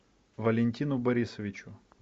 валентину борисовичу